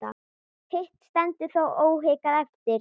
Hitt stendur þó óhikað eftir.